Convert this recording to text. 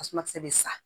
Tasuma kisɛ bɛ sa